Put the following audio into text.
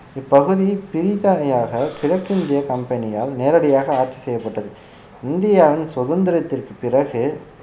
இப்பகுதி பிரித்தானியாக கிழக்கிந்திய கம்பெனியால் நேரடியாக ஆட்சி செய்யப்பட்டது இந்தியாவின் சுதந்திரத்திற்கு பிறகு